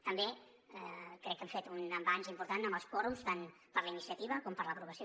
també crec que hem fet un avanç important amb els quòrums tant per a la iniciativa com per a l’aprovació